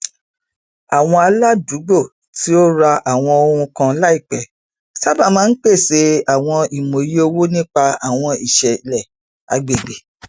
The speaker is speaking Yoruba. àwọn aládùúgbò tí ó rà àwọn ohun kan laipẹ sábà máa ń pèsè àwọn ìmòye owó nípa àwọn iṣẹlẹ agbègbè